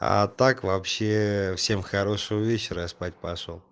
а так вообще всем хорошего вечера я спать пошёл